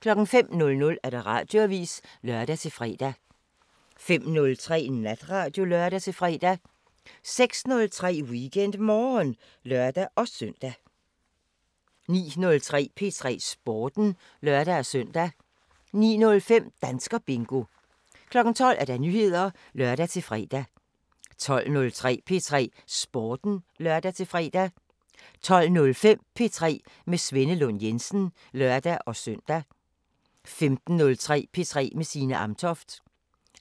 05:00: Radioavisen (lør-fre) 05:03: Natradio (lør-fre) 06:03: WeekendMorgen (lør-søn) 09:03: P3 Sporten (lør-søn) 09:05: Danskerbingo 12:00: Nyheder (lør-fre) 12:03: P3 Sporten (lør-fre) 12:05: P3 med Svenne Lund Jensen (lør-søn) 15:03: P3 med Signe Amtoft